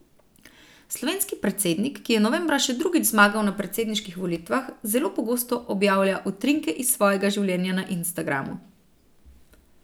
Slovenski predsednik, ki je novembra še drugič zmagal na predsedniških volitvah, zelo pogosto objavlja utrinke iz svojega življenja na Instagramu.